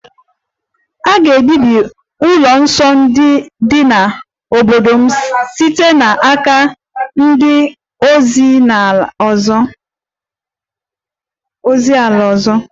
A ga-ebibi ụlọ nsọ dị n'obodo m site n'aka ndị ozi ala ọzọ